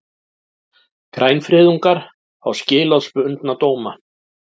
Grænfriðungar fá skilorðsbundna dóma